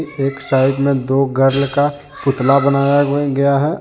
एक साइड मे दो गर्ल का पुतला बनाया गया है।